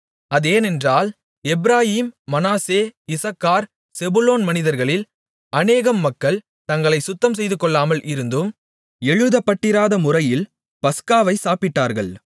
அதேனென்றால் எப்பிராயீம் மனாசே இசக்கார் செபுலோன் மனிதர்களில் அநேகம் மக்கள் தங்களைச் சுத்தம் செய்துகொள்ளாமல் இருந்தும் எழுதப்பட்டிராத முறையில் பஸ்காவைச் சாப்பிட்டார்கள்